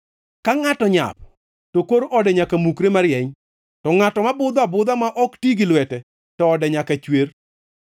Ka ngʼato nyap, to kor ode nyaka mukre marieny; to ngʼato ma budho abudha ma ok ti gi lwete, to ode nyaka chwer.